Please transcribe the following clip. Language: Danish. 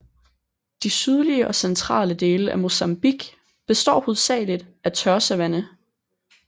De sydlige og centrale dele af Mozambique består hovedsageligt af tør savanne